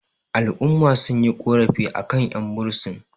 al'umma sun yi ƙorafi a kan 'yanbursin